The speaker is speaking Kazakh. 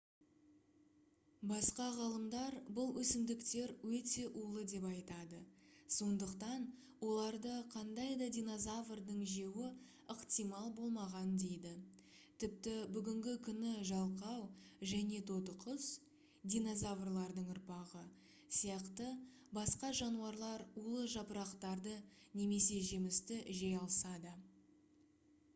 басқа ғалымдар бұл өсімдіктер өте улы деп айтады сондықтан оларды қандай да динозаврдың жеуі ықтимал болмаған дейді тіпті бүгінгі күні жалқау және тотықұс динозаврлардың ұрпағы сияқты басқа жануарлар улы жапырақтарды немесе жемісті жей алса да